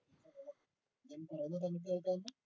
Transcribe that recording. ഞാൻ പറയുന്ന താങ്കൾക്ക് കേൾക്കവല്ലോ